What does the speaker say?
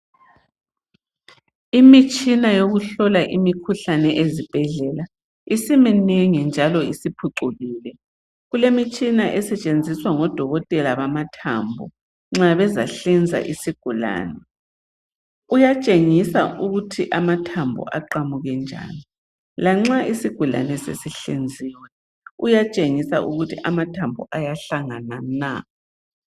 Imitshina yokuhlola imikhuhlane ezibhedlela isiminengi njalo isiphucukile. Kulemitshina esetshenziswa ngodokotela bamathambo nxa bezahlinza isigulane. Ukuyatshengisa ukuthi amathambo aqamuke njani lanxa isigulane sesihlinziwe uyatshengisa ukuthi amathambo ayahlangana na.